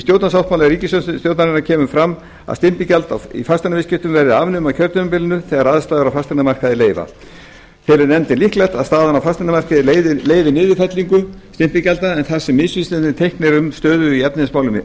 stjórnarsáttmála ríkisstjórnarinnar kemur fram að stimpilgjald í fasteignaviðskiptum verði afnumið á kjörtímabilinu þegar aðstæður á fasteignamarkaði leyfa nefndin telur líklegt að staðan á fasteignamarkaði leyfi niðurfellingu stimpilgjalds en þar sem misvísandi teikn eru um stöðu í efnahagsmálum